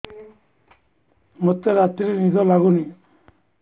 ମୋତେ ରାତିରେ ନିଦ ଲାଗୁନି